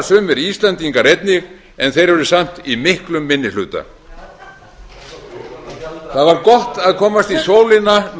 sumir íslendingar einnig en þeir eru samt í miklum minni hluta það var gott að komast í sólina